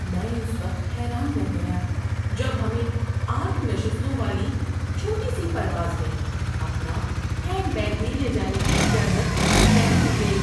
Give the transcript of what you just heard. میں اس وقت حیران رہ گیا جب ہمیں آٹھ نشستوں والی چھوٹی سی پرواز میں اپنا ہینڈ بیگ بھی لے جانے کی اجازت نہیں دی گئی۔